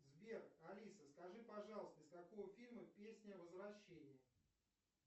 сбер алиса скажи пожалуйста из какого фильма песня возвращение